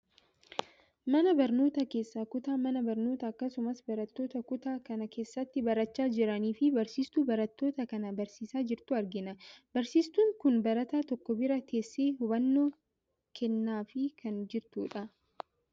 Mana barnootaa keessaa kutaa mana barnootaa akkasumas barattoota kutaa kana keessatti barachaa jiraniifi barsiistuu barattoota kana barsiisaa jirtu argina. Barsiistuun kun barataa tokko bira teessee hubannoo kennaafi kan jirtu dha.